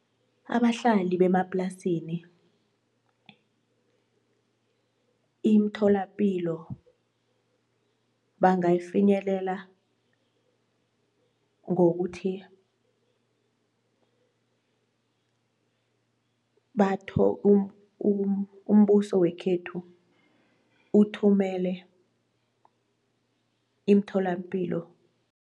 Abahlali bemaplasini imtholapilo bangayifinyelela ngokuthi umbuso wekhethu uthumele iimtholampilo.